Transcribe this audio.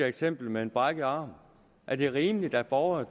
eksemplet med en brækket arm er det rimeligt at borgere